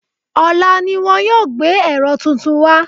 Ọ̀la ni wọ́n yóò gbé ẹ̀rọ tuntun wá